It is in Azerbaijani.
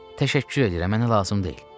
Təşəkkür edirəm, mənə lazım deyil.